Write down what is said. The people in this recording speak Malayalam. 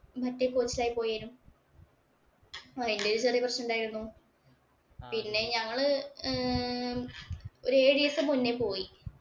മറ്റേ ആയി പോയേ. അയിന്‍റെ ഒരു ചെറിയ പ്രശ്നം ഉണ്ടായിരുന്നു പിന്നെ ഞങ്ങള് ഒരു ഏഴ് ദിവസം മുന്നേ പോയി.